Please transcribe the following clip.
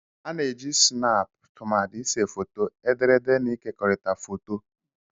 A na-eji Snap tumadi ịse foto, ederede na ịkekọrịta foto.